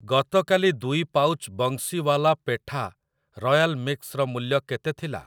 ଗତକାଲି ଦୁଇ pouch Bansiwala petha royal mix ର ମୂଲ୍ୟ କେତେ ଥିଲା?